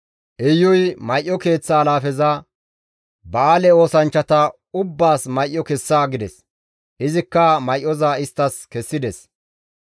Iyuy may7o keeththa alaafeza, «Ba7aale oosanchchata ubbaas may7o kessa» gides; izikka may7oza isttas kessides.